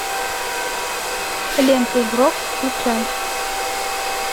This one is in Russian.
лента игрок включай